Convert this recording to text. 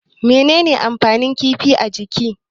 Mene ne amfanin kifi a jiki?